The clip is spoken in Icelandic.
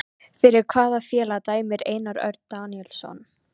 Fyrir hvaða félag dæmir Einar Örn Daníelsson?